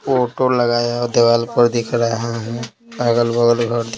photo लगाया और दीवाल पर दिख रहा है --